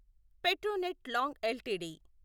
పెట్రోనెట్ లాంగ్ ఎల్టీడీ